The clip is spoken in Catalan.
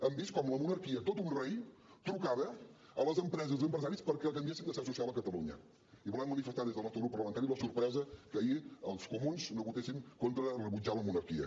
hem vist com la monarquia tot un rei trucava a les empreses i empresaris perquè canviessin de seu social a catalunya i volem manifestar des del nostre grup parlamentari la sorpresa que ahir els comuns no votessin contra rebutjar la monarquia